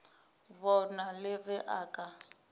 bona le ge a ka